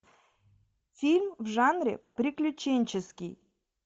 фильм в жанре приключенческий